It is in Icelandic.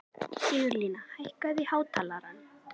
Sigurlína, hækkaðu í hátalaranum.